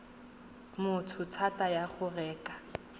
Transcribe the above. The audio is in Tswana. motho thata ya go reka